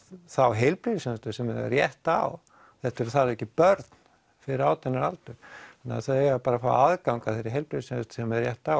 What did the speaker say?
þá heilbrigðisþjónustu sem þau eiga rétt á þetta er þar að auki börn fyrir átján ára aldur þannig að þau eiga bara að fá aðgang að þeirri heilbrigðisþjónustu sem þau eiga rétt á